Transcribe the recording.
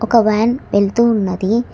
ఒక వ్యాన్ వెల్తూ ఉన్నది.